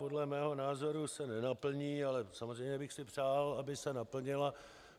Podle mého názoru se nenaplní, ale samozřejmě bych si přál, aby se naplnila.